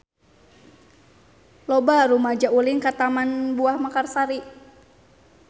Loba rumaja ulin ka Taman Buah Mekarsari